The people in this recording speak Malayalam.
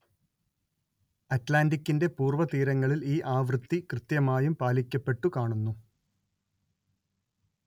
അറ്റ്‌ലാന്റിക്ക്കിന്റെ പൂർവതീരങ്ങളിൽ ഈ ആവൃത്തി കൃത്യമായും പാലിക്കപ്പെട്ടു കാണുന്നു